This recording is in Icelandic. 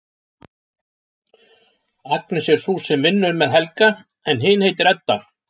Agnes er sú sem vinnur með Helga en hin heitir Edda.